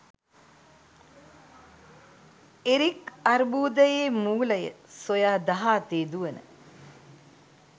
Eric අර්බුදයේ මූලය සොයා දහ අතේ දුවන